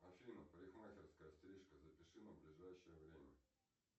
афина парикмахерская стрижка запиши на ближайшее время